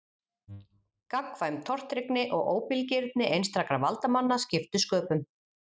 Gagnkvæm tortryggni og óbilgirni einstakra valdamanna skiptu sköpum.